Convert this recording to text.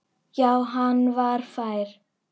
Já, hann var fær!